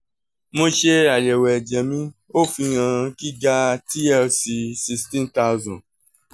mo ṣe ayẹwo ẹjẹ mi o fihan giga tlc sixteen thousand